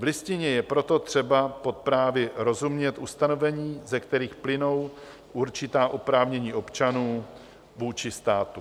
V Listině je proto třeba pod právy rozumět ustanovení, ze kterých plynou určitá oprávnění občanů vůči státu.